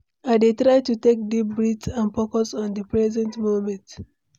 I dey try to take deep breaths and focus on di present moment.